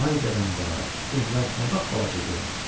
Vay dədəm vay, evlər nə babbalaca görünür.